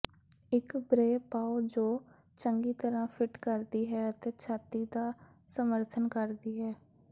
ਇਕ ਬ੍ਰੇ ਪਾਓ ਜੋ ਚੰਗੀ ਤਰ੍ਹਾਂ ਫਿੱਟ ਕਰਦੀ ਹੈ ਅਤੇ ਛਾਤੀ ਦਾ ਸਮਰਥਨ ਕਰਦੀ ਹੈ